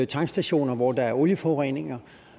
tankstationer hvor der er olieforureninger